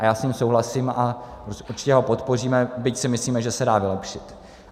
A já s ním souhlasím a určitě ho podpoříme, byť si myslíme, že se dá vylepšit.